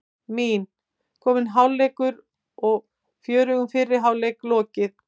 Mín: Kominn hálfleikur og fjörugum fyrri hálfleik lokið.